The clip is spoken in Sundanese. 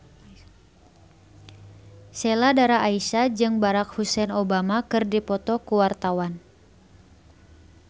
Sheila Dara Aisha jeung Barack Hussein Obama keur dipoto ku wartawan